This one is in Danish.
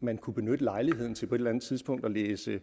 man kunne benytte lejligheden til på et eller andet tidspunkt at læse